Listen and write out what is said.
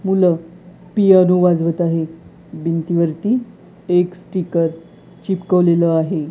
मुलं पियानो वाजवत आहेत. भिंतीवरती एक स्टिकर चिटकवलेलं आहे.